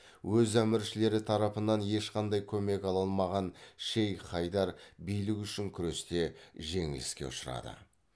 өз әміршілері тарапынан ешқандай көмек ала алмаған шейх хайдар билік үшін күресте жеңіліске ұшырады